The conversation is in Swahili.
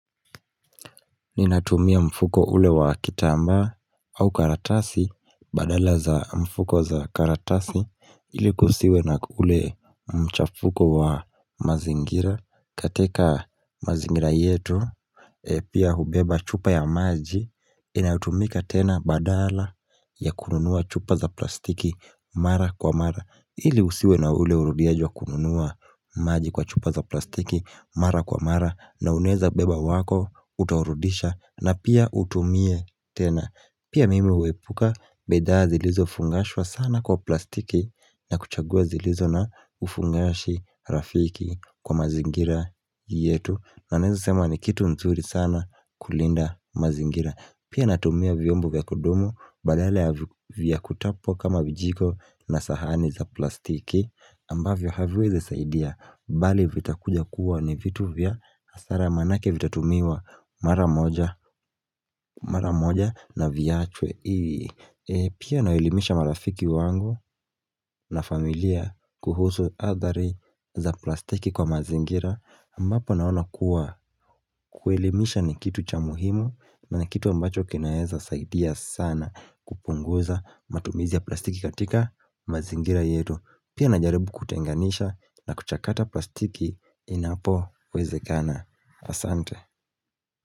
Ninatumia mfuko ule wa kitambaa au karatasi, badala za mfuko za karatasi, ili kusiwe na ule mchafuko wa mazingira, katika mazingira yetu, pia hubeba chupa ya maji, inayotumika tena badala ya kununua chupa za plastiki mara kwa mara. Ili usiwe na ule urudiaji wa kununua maji kwa chupa za plastiki mara kwa mara na unaeza beba wako utaurudisha na pia utumie tena Pia mimi huepuka bidhaa zilizo fungashwa sana kwa plastiki na kuchagua zilizo na ufungashi rafiki kwa mazingira yetu na naeza sema ni kitu nzuri sana kulinda mazingira Pia natumia vyombo vya kudumu badala ya kutapwa kama vijiko na sahani za plastiki ambavyo haviwezi saidia bali vitakuja kuwa ni vitu vya asara manake vitatumiwa mara moja na viachwe Pia nawaelimisha marafiki wangu na familia kuhusu athari za plastiki kwa mazingira ambapo naona kuwa kuelimisha ni kitu cha muhimu na ni kitu ambacho kinaeza saidia sana kupunguza matumizi ya plastiki katika mazingira yetu. Pia najaribu kutenganisha na kuchakata plastiki inapowezekana asante.